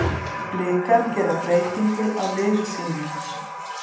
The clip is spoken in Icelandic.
Blikar gera breytingu á liði sínu.